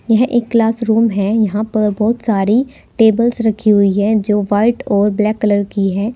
यह एक क्लासरूम है यहां पर बहुत सारे टेबल्स रखी हुई है जो व्हाइट और ब्लैक कलर की है।